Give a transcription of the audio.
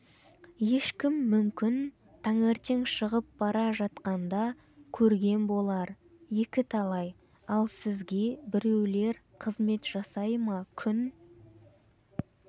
ешкім мүмкін таңертең шығып бара жатқанда көрген болар екіталай ал сізге біреулер қызмет жасай ма күн